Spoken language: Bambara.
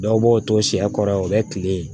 Dɔw b'o to sɛ kɔrɔ o bɛ kile